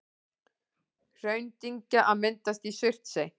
Hraundyngja að myndast í Surtsey.